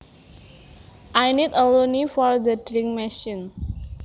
I need a loonie for the drink machine